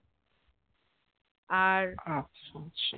আচ্ছা আচ্ছা